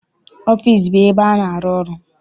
Ọfịịsi bụ ebe a na-arụ ọrụ.